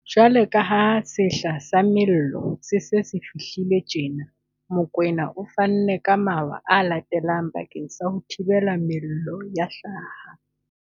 Jwaloka ha sehla sa mello se se se fihlile tjena, Mokoena o fanne ka mawa a latelang bakeng sa ho thibela mello ya hlaha.